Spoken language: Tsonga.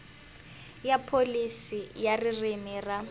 ra pholisi ya ririmi ra